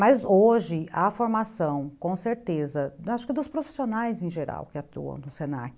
Mas hoje, a formação, com certeza, acho que dos profissionais em geral que atuam no se na que,